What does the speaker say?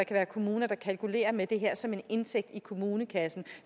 være kommuner der kalkulerer med det her som en indtægt i kommunekassen